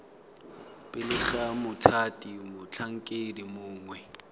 pele ga mothati motlhankedi mongwe